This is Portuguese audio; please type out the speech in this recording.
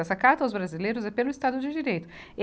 Essa Carta aos Brasileiros é pelo Estado de Direito.